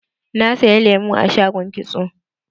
Na saya lemu a shagon kitso.